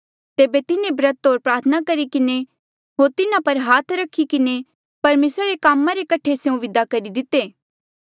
तेबे तिन्हें ब्रत होर प्रार्थना करी किन्हें होर तिन्हा पर हाथ रखी किन्हें परमेसरा रे कामा रे कठे स्यों विदा करी दिते